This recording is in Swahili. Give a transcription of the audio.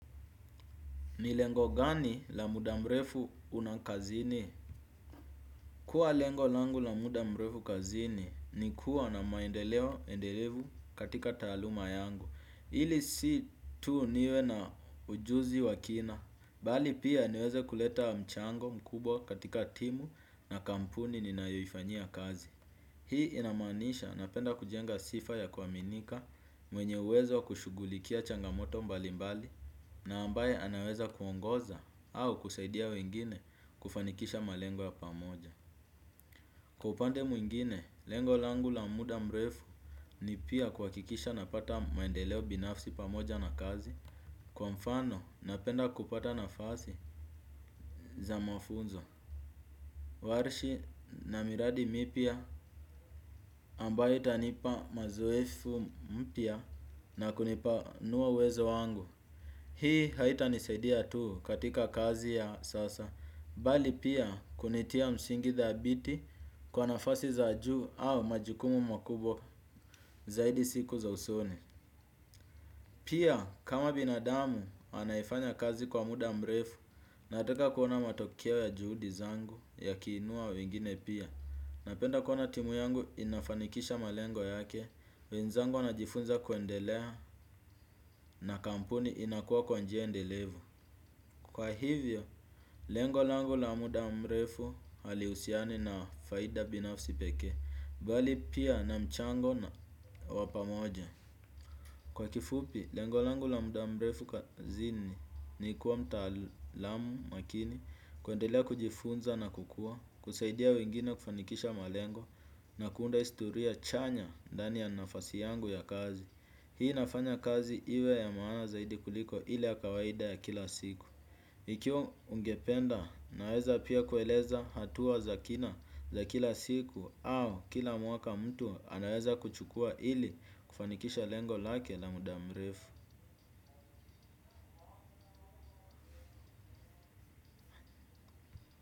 Ni lengo gani la muda mrefu unakazini? Kuwa lengo langu la muda mrefu kazini ni kuwa na maendeleo endelevu katika taaluma yangu. Ili si tu niwe na ujuzi wa kina. Bali pia niweze kuleta mchango mkubwa katika timu na kampuni ninayoifanyia kazi. Hii inaamanisha napenda kujenga sifa ya kuaminika mwenye uwezo wa kushughulikia changamoto mbali mbali. Na ambaye anaweza kuongoza au kusaidia wengine kufanikisha malengo ya pamoja. Kwa upande mwingine, lengo langu la muda mrefu ni pia kuhakikisha napata maendeleo binafsi pamoja na kazi. Kwa mfano, napenda kupata nafasi za mafunzo Warshi na miradi mipya ambayo itanipa mazoefu mpya na kunipanua uwezo wangu. Hii haitanisaidia tu katika kazi ya sasa bali pia kunitia msingi dhabiti kwa nafasi za juu au majikumu makubwa zaidi siku za usoni. Pia kama binadamu anayefanya kazi kwa muda mrefu nataka kuona matokeo ya juhudi zangu yakiinua wengine pia. Napenda kuona timu yangu inafanikisha malengo yake, wenzangu wanajifunza kuendelea na kampuni inakuwa kwa njia endelevu. Kwa hivyo, lengo langu la muda mrefu hali husiani na faida binafsi pekee, bali pia na mchango na wa pamoja. Kwa kifupi, lengo langu la muda mrefu kazini ni kuwa mtaalamu makini kuendelea kujifunza na kukua, kusaidia wengine kufanikisha malengo na kuunda historia chanya ndani ya nafasi yangu ya kazi. Hii inafanya kazi iwe ya maana zaidi kuliko ile ya kawaida ya kila siku. Ikiwa ungependa naweza pia kueleza hatua za kina za kila siku au kila mwaka mtu anaweza kuchukua ili kufanikisha lengo lake na muda mrefu.